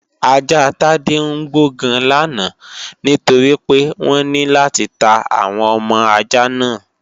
Ajá Tádé ń gbó gan làná nítorí pé wọ́n ní láti ta àwọn ọmọ ajá náà